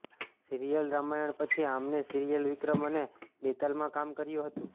serial Ramayan પછી આમને serial Vikram અને બેતાલમાં કામ કર્યુ હતું